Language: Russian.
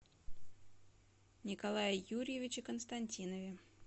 николае юрьевиче константинове